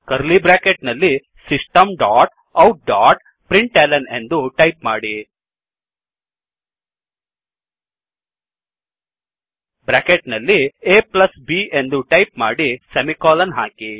curly bracket ನಲ್ಲಿ system dot out dot println ಎಂದು type ಮಾಡಿ ಬ್ರ್ಯಾಕೆಟ್ ನಲ್ಲಿ aಬ್ ಎಂದು ಟೈಪ್ ಮಾಡಿ ಸೆಮಿಕೋಲನ್ ಹಾಕಿ